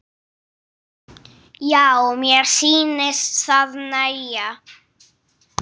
Já, mér sýnist það nægja!